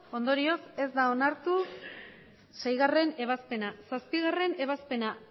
ondorioz ez da onartu seigarrena ebazpena zazpigarrena ebazpena